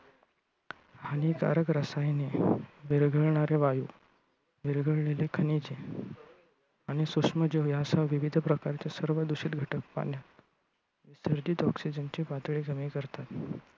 हानिकारक रसायने, विरघळणारे वायू, विरघळलेली खनिजे आणि सूक्ष्म जीव यांसह विविध प्रकारचे सर्व दूषित घटक पाण्यातील oxygen ची पातळी कमी करतात.